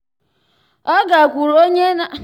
ọ gakwuuru onye na